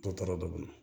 Dɔ taara dugu kɔnɔ